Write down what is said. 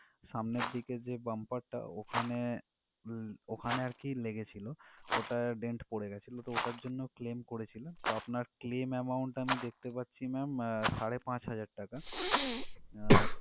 সামনের দিকে যে bumper টা ওখানে ল~ ওখানে আরকি লেগে ছিল ওটা dent পড়ে গেছিল, তো ওটার জন্য claim করেছিলেন তো আপনার claim amount আমি দেখতে পাচ্ছি ma'am সাড়ে পাঁচ হাজার টাকা। আহ